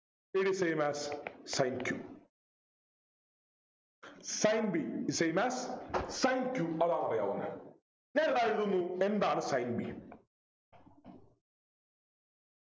It is same as sin q Sin b same as sin q അതാണറിയാവുന്നെ ഞാനൊരു കാര്യമെടുക്കുന്നു എന്താണ് Sin b